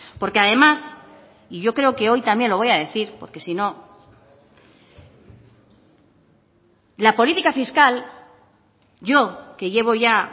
porque además y yo creo que hoy también lo voy a decir porque si no la política fiscal yo que llevo ya